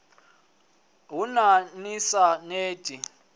haṋu ni sa neti na